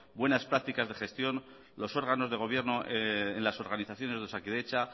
buenas prácticas de gestión los órganos de gobierno en las organizaciones de osakidetza